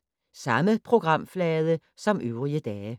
Samme programflade som øvrige dage